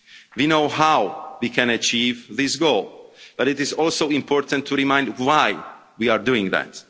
We know how we can achieve this goal, but it is also important to remind ourselves why we are doing